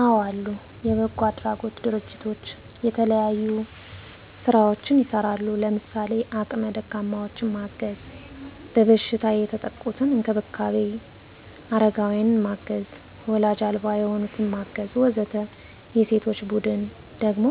አዎ አሉ። የበጎ አድራጎት ድርጅቶች የተለያዩ ስራዎችን ይሰራሉ። ለምሳሌ:- አቅመ ደካማዎችን ማገዝ፣ በበሽታ የተጠቁትን መንከባከብ፣ አረጋውያንን ማገዝ፣ ዎላጅ አልባ የሆኑትን ማገዝ ... ወዘተ። የሴቶች ቡድን ደግሞ